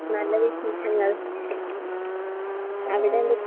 നല്ല വിശേഷങ്ങൾ.അവിടെ എന്തൊക്കെ?